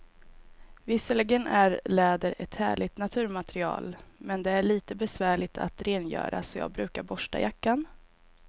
Visserligen är läder ett härligt naturmaterial, men det är lite besvärligt att rengöra, så jag brukar borsta jackan.